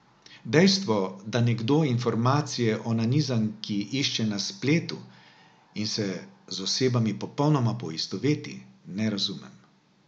Dejstvo, da nekdo informacije o nanizanki išče na spletu in se z osebami popolnoma poistoveti, ne razumem.